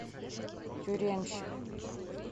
тюремщик